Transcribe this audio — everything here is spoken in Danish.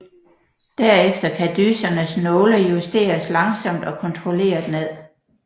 Der efter kan dysernes nåle justeres langsomt og kontrolleret ned